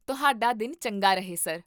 ਤੁਹਾਡਾ ਦਿਨ ਚੰਗਾ ਰਹੇ, ਸਰ!